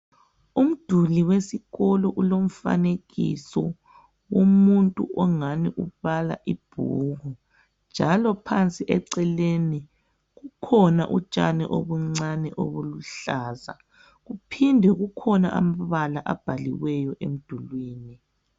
Umduli wesikolo ulomfanekiso womuntu ongani ubala ibhuku, njalo phansi eceleni kukhona utshani obuncane obuluhlaza. Kuphinde kukhona amabala abhaliweyo emdulwini.